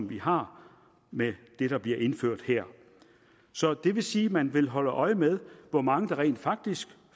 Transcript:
vi har med det der bliver indført her så det vil sige at man vil holde øje med hvor mange der rent faktisk